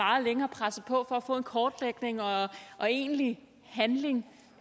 længe har presset på for at få en kortlægning og og egentlig handling